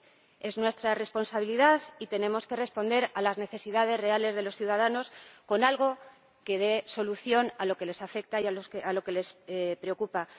12. Es nuestra responsabilidad y tenemos que responder a las necesidades reales de los ciudadanos con algo que dé solución a lo que les afecta y a lo que les preocupa.